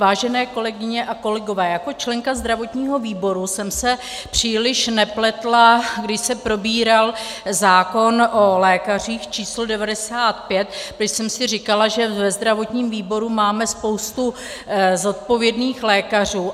Vážené kolegyně a kolegové, jako členka zdravotního výboru jsem se příliš nepletla, když se probíral zákon o lékařích č. 95, když jsem si říkala, že ve zdravotním výboru máme spoustu zodpovědných lékařů.